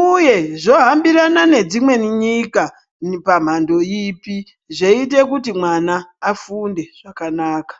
uye zvohambirana nedzimweni nyika pamhando ipi zveiita kuti mwana afunde zvakanaka.